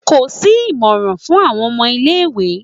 Ko si imọran fun awọn ọmọ ile-iwe